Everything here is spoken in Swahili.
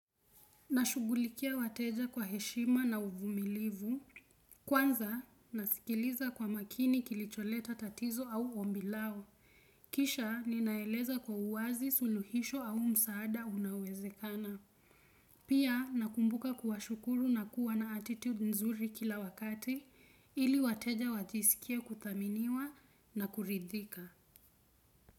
Nashugulikia wateja kwa heshima na uvumilivu. Kwanza nasikiliza kwa makini kilicholeta tatizo au ombi lao. Kisha ninaeleza kwa uwazi suluhisho au msaada unaowezekana. Pia nakumbuka kuwashukuru na kuwa na attitude nzuri kila wakati ili wateja wajisikie akuthaminiwa na kuridhika.